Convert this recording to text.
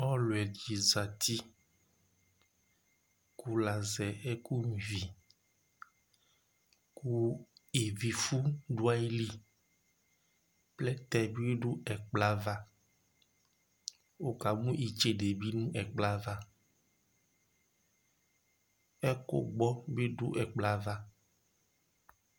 Ɔlʋ ɛɖɩ zati ,ƙʋ l' azɛ ɛƙʋ nƴua iviIvi fʋ ɖʋ aƴili, plɛtɛ ,itseɖe nʋ ɛƙʋ gbɔ bɩ ɖʋ ɛƙplɔ ƴɛ ava